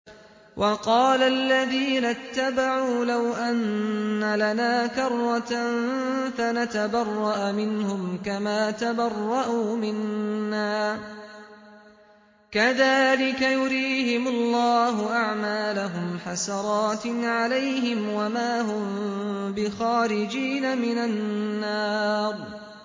وَقَالَ الَّذِينَ اتَّبَعُوا لَوْ أَنَّ لَنَا كَرَّةً فَنَتَبَرَّأَ مِنْهُمْ كَمَا تَبَرَّءُوا مِنَّا ۗ كَذَٰلِكَ يُرِيهِمُ اللَّهُ أَعْمَالَهُمْ حَسَرَاتٍ عَلَيْهِمْ ۖ وَمَا هُم بِخَارِجِينَ مِنَ النَّارِ